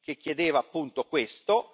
che chiedeva appunto questo.